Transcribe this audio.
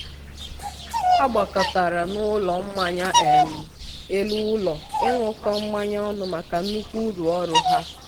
ha gbakọtara n'ụlọ mmanya um elu ụlọ ịṅụkọ mmanya ọnụ maka nnukwu uru ọrụ ha.